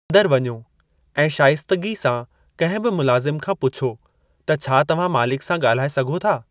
अंदरि वञो ऐं शाइस्तगी सां कंहिं बि मुलाज़िम खां पुछो त छा तव्हां मालिक सां ॻाल्हाए सघो था।